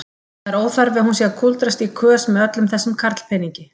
Það er óþarfi hún sé að kúldrast í kös með öllum þessum karlpeningi.